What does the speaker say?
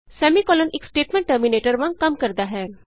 semicolon ਇਕ statement terminator ਸਮਾਪਕ ਵਾਂਗ ਕੰਮ ਕਰਦਾ ਹੈ